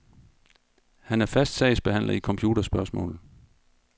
Han er fast sagsbehandler i computerspørgsmål.